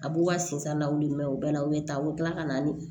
A b'u ka sensennaw wli mɛ u bɛ na u bɛ taa u bɛ tila ka na ni